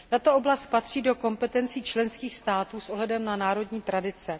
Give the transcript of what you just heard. Tato oblast patří do kompetencí členských států s ohledem na národní tradice.